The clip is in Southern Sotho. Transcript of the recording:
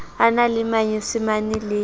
a na le manyesemane le